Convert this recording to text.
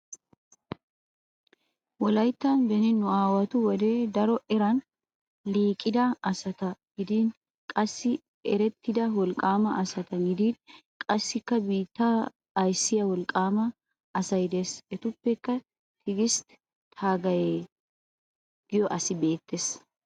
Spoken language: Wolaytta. Wolayttan beni nu aawatu wode daron eran liiqida asata gidin qassi erettida wolqqaama as gidin qassikka biittaa ayssiyaa wolqqaama asay des. Etuppekka tigistti taagaayee giyo asi beettes